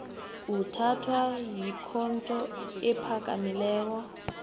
uthathwa yikhotho ephakamileko